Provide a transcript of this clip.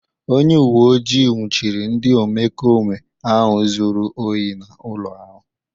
Onye uwe ojii nwụchiri ndị omekome ahụ zuru ohi n'ụlọ ahu.